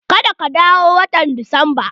Ka da ka dawo watan disamba!